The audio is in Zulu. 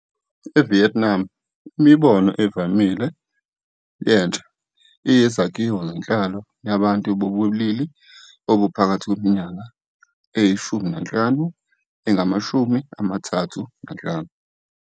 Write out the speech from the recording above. EVietnam, imibono evamile yentsha iyizakhiwo zenhlalo yabantu bobulili obuphakathi kweminyaka eyi-15 nengama-35.